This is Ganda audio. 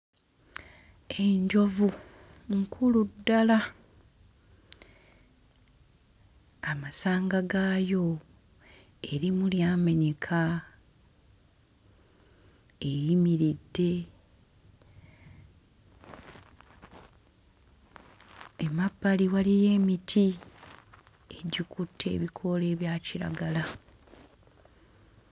Enjovu nkulu ddala amasanga gaayo erimu lyamenyeka eyimiridde emabbali waliyo emiti egikutte ebikoola ebya kiragala.